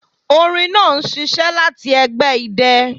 Orin naa n ṣiṣẹ lati ẹgbẹ idẹ